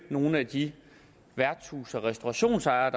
nogle af de værtshus og restaurationsejere